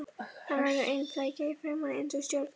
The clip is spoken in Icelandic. Hann verður ein flækja í framan, eins og stjórn